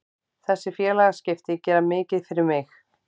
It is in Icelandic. Þessi félagaskipti gera mikið fyrir mig.